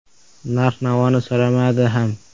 Narx-navoni so‘ramadi ham.